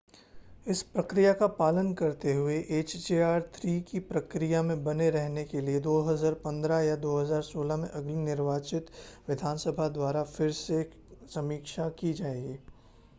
इस प्रक्रिया का पालन करते हुए hjr-3 की प्रक्रिया में बने रहने के लिए 2015 या 2016 में अगले निर्वाचित विधानसभा द्वारा फिर से समीक्षा की जाएगी